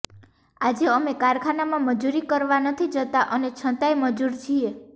આજે અમે કારખાનામાં મજૂરી કરવા નથી જતા અને છતાંય મજૂર છીએ